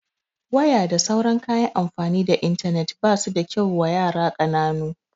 Waya da sauran kayan amfani da intanet basu da kyau wa yara ƙananu